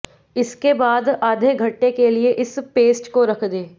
इसके बाद आधे घंटे के लिए इस पेस्ट को रख दें